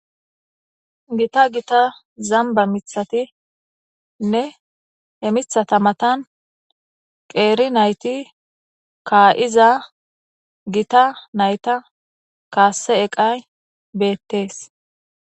Gita gita zanba miththatinne he miththata matan zanba miththat dossona he miththa achchankka gashshe nat dosona gita nata kasse eqay bettes